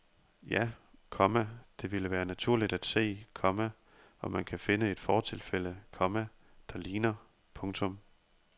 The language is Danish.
Ja, komma det ville være naturligt at se, komma om man kan finde et fortilfælde, komma der ligner. punktum